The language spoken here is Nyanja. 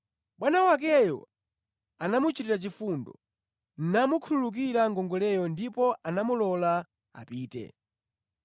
Bwana wakeyo anamuchitira chifundo, namukhululukira ngongoleyo ndipo anamulola apite.